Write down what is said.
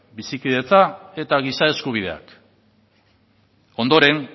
bizikidetza eta giza eskubideak ondoren